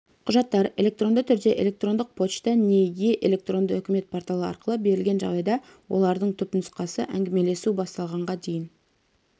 құжаттар электронды түрде электрондық почта не е- электронды үкімет порталы арқылы берілген жағдайда олардың түпнұсқасы әңгімелесу басталғанға дейін